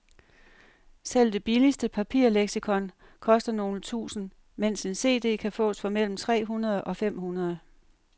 Selv det billigste papirleksikon koster nogle tusinde, mens en cd kan fås for mellem tre hundrede og fem hundrede.